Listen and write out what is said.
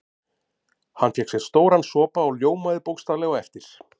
Hann fékk sér stóran sopa og ljómaði bókstaflega á eftir.